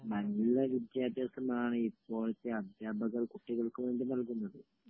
നല്ല വിദ്യാഭ്യാസമാണ് ഇപ്പോഴത്തെ അധ്യാപകർ കുട്ടികൾക്ക് വേണ്ടി നല്കുന്നത്